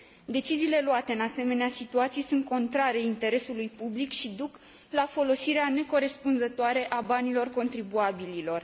Deciziile luate în asemenea situații sunt contrare interesului public și duc la folosirea necorespunzătoare a banilor contribuabililor.